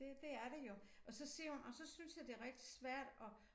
Det det er det jo og så siger hun og så synes jeg det rigtig svært at